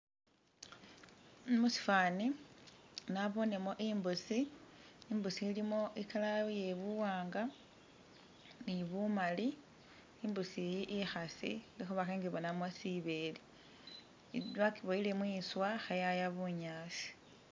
Musifani nabonemo imbusi, imbusi ilimo i'colour iye buwanga ni bumaali, imbuusi iyi ikhaasi lwekhuba khengibonamo sibeele bakiboyile mwiswa kheyaya bunyaasi